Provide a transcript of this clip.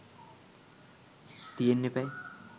තියෙන්න එපැයි.